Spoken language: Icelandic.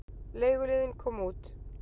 Leiguliðinn kom út.